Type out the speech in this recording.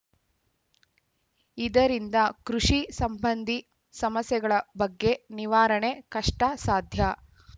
ಇದರಿಂದ ಕೃಷಿ ಸಂಬಂಧಿ ಸಮಸ್ಯೆಗಳ ಬಗ್ಗೆ ನಿವಾರಣೆ ಕಷ್ಟಸಾಧ್ಯ